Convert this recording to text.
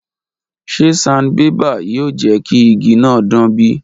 Ṣe sanbébà yoo jẹ ki igi naa dan bi?